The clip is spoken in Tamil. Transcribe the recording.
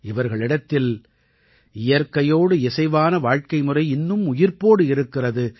இவர்களிடத்தில் இயற்கையோடு இசைவான வாழ்க்கை முறை இன்னும் உயிர்ப்போடு இருக்கிறது